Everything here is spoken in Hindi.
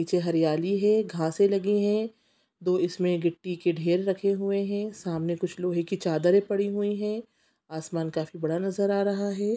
नीचे हरियाली है घासे लगी है दो इसमें गिट्टी के ढेर रखे हुए है सामने कुछ लोहे की चादरे पड़ी हुई है आसमान काफी बड़ा नजर आ रहा है।